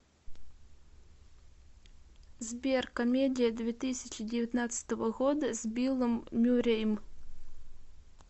сбер комедия две тысячи девятнадцатого года с биллом мюррейм